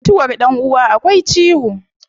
Mutuwar dan uwa akwai ciwo